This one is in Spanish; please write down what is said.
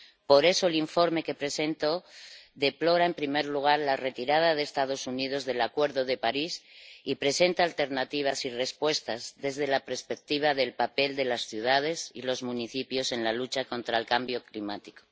Por eso, el informe que presento deplora, en primer lugar, la retirada de los Estados Unidos del Acuerdo de París y presenta alternativas y respuestas desde la perspectiva del papel de las ciudades y los municipios en la lucha contra el cambio climático.